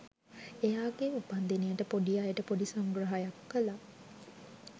එයාගේ උපන්දිනයට පොඩි අයට පොඩි සංග්‍රහයක්‌ කලා.